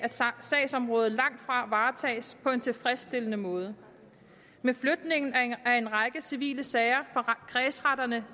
sagsområderne langtfra varetages på en tilfredsstillende måde med flytningen af en række civile sager fra kredsretterne